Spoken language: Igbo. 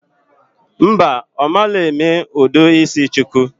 Mba, omalo eme udu isi shuku